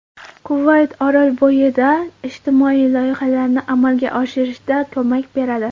Kuvayt Orolbo‘yida ijtimoiy loyihalarni amalga oshirishda ko‘mak beradi.